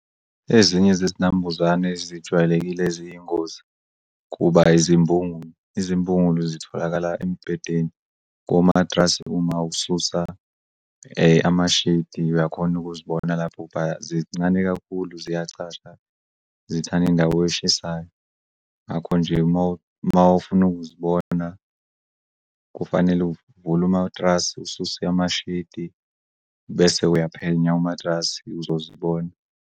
Ezinye zezinambuzane zijwayelekile ziyingozi kuba izimbungulu. Izimbungulu zitholakala embedeni komatrasi uma ususa amashidi uyakhona ukuzibona lapho zincane kakhulu ziyacasha, zithanda indawo eshisayo ngakho nje mawufuna ukuzibona kufanele uvule umatrasi ususe amashidi bese uyaphenya umatrasi uzozibona.